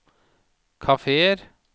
kafeer